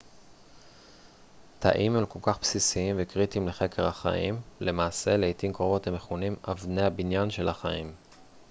תאים הם כל כך בסיסיים וקריטיים לחקר החיים למעשה לעתים קרובות הם מכונים אבני הבניין של החיים